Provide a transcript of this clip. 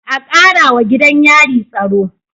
A Karawa gidan yari tsaro